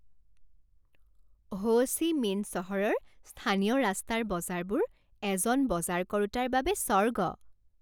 হো Chi Minh চহৰৰ স্থানীয় ৰাস্তাৰ বজাৰবোৰ এজন বজাৰ কৰোঁতাৰ বাবে স্বৰ্গ।